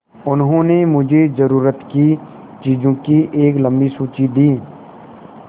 उन्होंने मुझे ज़रूरत की चीज़ों की एक लम्बी सूची दी